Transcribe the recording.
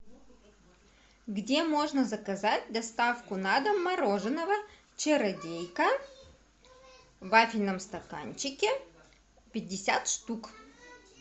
где можно заказать доставку на дом мороженого чародейка в вафельном стаканчике пятьдесят штук